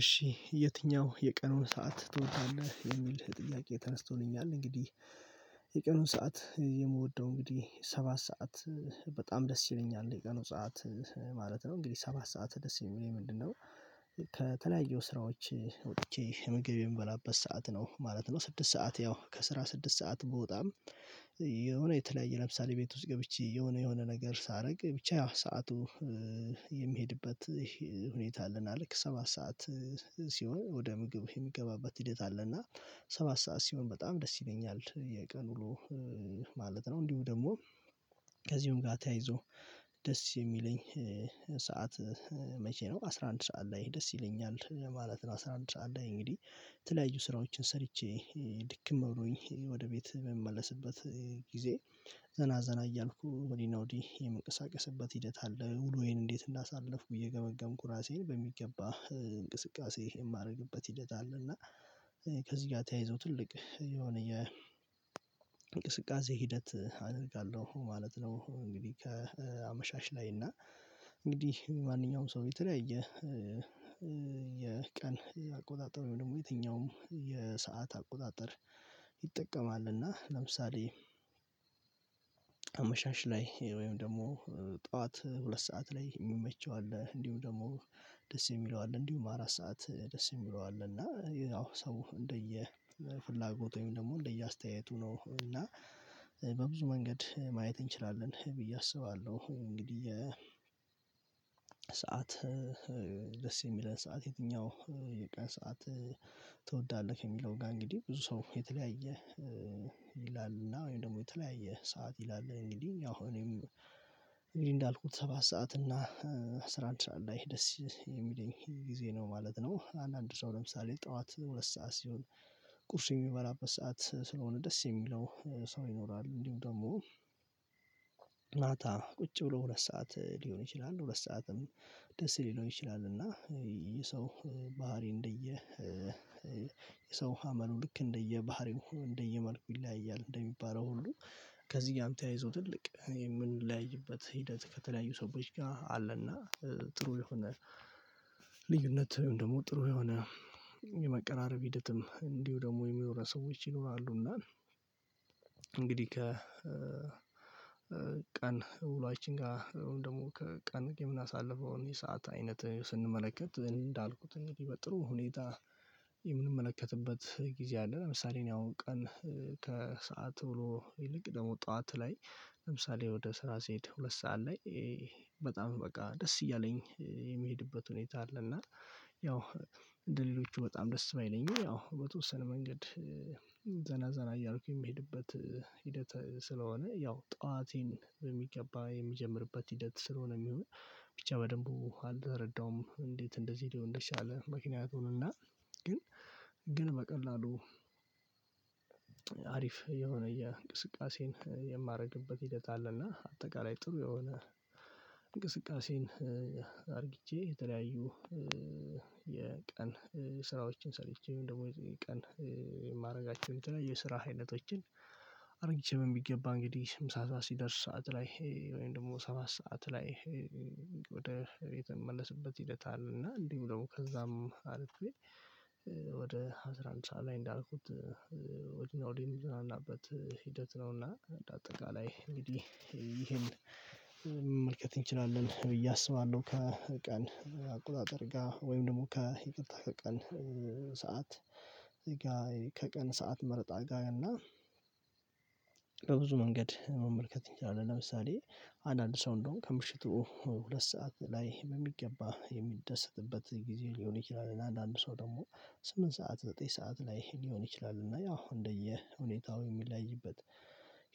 እሺ የትኛው የቀኑን ሰዓት ትወጣለህ? የሚል ጥያቄ ተነስቶልኛል እንግዲህ የቀኑን ሰዓት የምወደው እንግዲህ ሰባት ሰዓት በጣም ደስ ይለኛል የቀኑን ሰዓት ማለት ነው። እንግዲህ ሰባት ሰዓት ደስ የሚለኝ ምንድነው? ከተለያየው ስራዎች ወጥቼ ምግብ የምበላበት ሰዓት ነው ማለት ነው። ስድስት ሰዓት ያው ከስራ ስድስት ሰዓት ብወጣም የሆነ የተለያየ ለምሳሌ ቤት ውስጥ ገብቼ የሆነ የሆነ ነገር ሳረግ ብቻ ሰዓቱ የሚሄድበት ሁኔታ አለና ልክ ሰባት ሰዓት ሲሆን ወደ ምግብ የሚገባበት ሂደት አለና ሰባት ሰዓት ሲሆን በጣም ደስ ይለኛል የቀን ዉሎ ማለት ነው። እንዲሁ ደግሞ ከዚሁም ጋ ተያይዞ ደስ የሚለኝ ሰዓት መቼ ነው አስራ አንድ ሰዓት ላይ ደስ ይለኛል ማለት ነው። አስራ አንድ ሰዓት ላይ እንግዲህ ተለያዩ ስራዎችን ሰርቼ ድክም ብሎኝ ወደ ቤት በምመለስበት ጊዜ ዘና ዘና እያልኩ ወዲህ አና ወዲህ የምንቀሳቀስበት ሂደት አለ። ውሎዬን እንዴት እንዳሳለፍኩ እየገመገምኩ ራሴን በሚገባ እንቅስቃሴ የማረግበት ሂደት አለ እና ከዚህ ጋር ተያይዞ ትልቅ የሆነ የ እንቅስቃሴ ሂደት አደርጋለሁ ማለት ነው። እንግዲህ ከአመሻሽ ላይ እና እንግዲህ ማንኛውም ሰው የተለያየ የቀን አቆጣጠር ወይም ደግሞ የትኛውም የሰዓት አቆጣጠር ይጠቀማል እና ለምሳሌ አመሻሽ ላይ ወይም ደግሞ ጡዋት ሁለት ሰዓት ላይ የሚመቸው አለ እንዲሁም ደግሞ ደስ የሚለው አለ እንዲሁም አራት ሰዓት ደስ የሚለው አለ እና ያው ሰው እንደየ ፍላጎት ወይም ደግሞ እንደየአስተያየቱ ነው እና በብዙ መንገድ ማየት እንችላለን ብዬ አስባለሁ እንግዲህ ሰዓት ደስ የሚለን ሰዓት የትኛው የቀን ሰዓት ትወዳለህ? የሚለው ጋር እንግዲህ ብዙ ሰው የተለያየ ይላልና ወይም ደግሞ የተለያየ ሰዓት ይላል እንግዲህ ያው እኔም እንግዲህ እንዳልኩት ሰባት ሰዓት እና አስራ አንድ ሰዓት ላይ ደስ የሚለኝ ጊዜ ነው ማለት ነው። አንዳንድ ሰው ለምሳሌ ጡዋት ሁለት ሰዓት ሲሆን ቁርስ የሚበላበት ሰዓት ስለሆነ ደስ የሚለው ሰው ይኖራል እንዲሁ ደግሞ ማታ ቁጭ ብሎ ሁለት ሰዓት ሊሆን ይችላል ሁለት ሰዓትም ደስ ሊለው ይችላል እና የሰው ባህሪ እንደየ የሰው አመሉ ልክ እንደየባህሪው እንደየመልኩ ይለያያል እንደሚባለው ሁሉ ከዚህ ጋም ተያይዘው ትልቅ የምንለያይበት ሂደት ከተለያዩ ሰዎች ጋር አለና ጥሩ የሆነ ልዩነት ወይም ደግሞ ጥሩ የሆነ የመቀራረብ ሂደትም እንዲሁ ደግሞ የሚኖረው ሰዎች ይኖራሉና ከ ቀን ውሎያችን ጋ ወይም ደግሞ ከቀን የምናሳልፈው የሰዓት አይነት ስንመለከት እንዳልኩት እንግዲህ በጥሩ ሁኔታ የምንመለከትበት ጊዜ አለ ለምሳሌ እኔ አሁን ቀን ከሰአት ዉሎ ይልቅ ደግሞ ጡዋት ላይ ለምሳሌ ወደ ስራ ሲሄድ ሁለት ሰዓት ላይ በጣም በቃ ደስ እያለኝ የሚሄድበት ሁኔታ አለ እና ያው እንደሌሎቹ በጣም ደስ ባይለኝም ያው በተወሰነ መንገድ ዘና ዘና እያልኩኝ የሚሄድበት ሂደት ስለሆነ ያው ጡዋቴን በሚገባ የሚጀምርበት ሂደት ስለሆነ ሚሆን ብቻ በደንቡ አልተረዳውም እንዴት እንደዚህ ልሆን እንደቻለ ምክንያቱን እና ግን ግን በቀላሉ አሪፍ የሆነ የእንቅስቃሴን የማረግበት ሂደት አለና አጠቃላይ ጥሩ የሆነ እንቅስቃሴን አርግቼ የተለያዩ የቀን ስራዎችን ሰርቼ ወይም ደግሞ የቀን የማረጋቸው የተለያየ ስራ አይነቶችን አርግቼ በሚገባ እንግዲህ ምሳ ሰዓት ሲደርስ ሰዓት ላይ ወይም ደግሞ ሰባት ሰዓት ላይ ወደ ቤት የምመለስበት ሂደት አለና እንዲው ደግሞ ከዛም አልፌ ወደ አስራ አንድ ሰዓት ላይ እንዳልኩት ወዲህ አና ውዲህ የምዘናናበት ሂደት ነውና አጠቃላይ እንግዲህ ይሄን መመልከት እንችላለን ብዬ አስባለው። ከቀን አቆጣጠር ጋር ወይም ደግሞ ከይቅርታ ከቀን ሰዓት ከቀን ሰዓት መረጣ ጋር አና በብዙ መንገድ መመልከት እንችላለን ለምሳሌ አንዳንድ ሰው እንደዉም ከምሽቱ ሁለት ሰዓት ላይ በሚገባ የሚደሰትበት ጊዜ ሊሆን ይችላል እና አንዳንድ ሰው ደግሞ ስምንት ሰዓት ዘጠኝ ሰዓት ላይ ሊሆን ይችላል እና ያው እንደየ ሁኔታው የሚለያይበት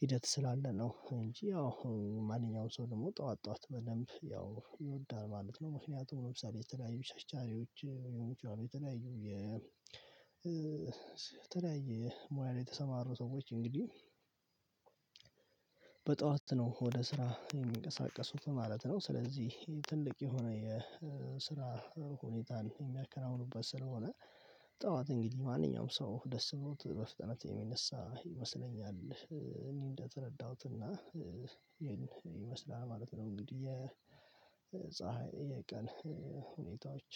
ሂደት ስላለ ነው እንጂ ያው ማንኛውም ሰው ደግሞ ጡዋት ጡዋት በደንብ ያው ይወዳል ማለት ነው። ምክንያቱም ለምሳሌ የተለያዩ ቸርቻሪዎች የምትጫወት የተለያዩ የተለያየ ሙያ ላይ የተሰማሩ ሰዎች እንግዲህ በጡዋት ነው ወደ ስራ የሚንቀሳቀሱት ማለት ነው። ስለዚህ ትልቅ የሆነ የስራ ሁኔታን የሚያከናውኑበት ስለሆነ ጡዋት እንግዲህ ማንኛውም ሰው ደስ ብሎት በፍጥነት የሚነሳ ይመስለኛል። እኔ እንደተረዳሁት እና ይሄን ይመስላል ማለት ነው እንግዲህ የፀሀይ የቀን ሁኔታዎች